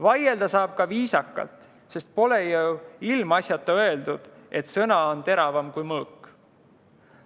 Vaielda saab ka viisakalt, sest pole ju ilmaasjata öeldud, et sõna on teravam kui mõõk.